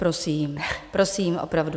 Prosím, prosím, opravdu.